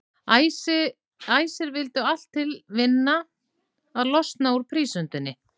Æsir vildu allt til vinna að losna úr prísundinni.